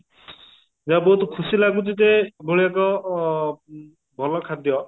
ନା ବହୁତ ଖୁସି ଲାଗୁଛି ଯେ ଏଭଳି ଏକ ଅ ଭଲ ଖାଦ୍ୟ